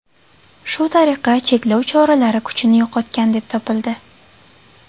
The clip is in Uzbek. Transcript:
Shu tariqa, cheklov choralari kuchini yo‘qotgan deb topildi.